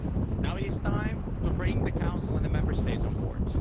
Now it is time to bring the Council and the Member States on board.